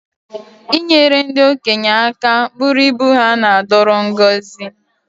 I nyere ndị okenye aka bụrụ ibu ha na-adoro ngọzi